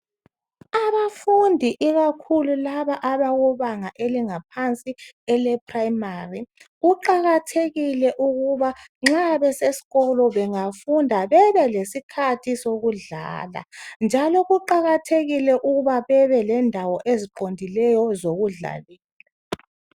Abafundi ikakhulu laba abakubanga elingaphansi ele primary njalo kuqakathekile ukuba nxa besesikolo bengafunda bebelesikhathi sokudlala njalo kuqakathekile ukuba bebe lendawo eziqondileyo zokudlala